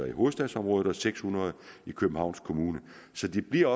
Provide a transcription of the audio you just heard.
i hovedstadsområdet og seks hundrede i københavns kommune så de bliver